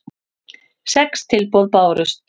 Sex tilboð bárust.